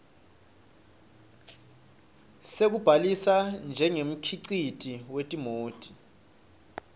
sekubhalisa njengemkhiciti wetimoti